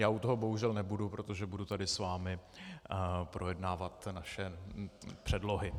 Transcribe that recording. Já u toho bohužel nebudu, protože budu tady s vámi projednávat naše předlohy.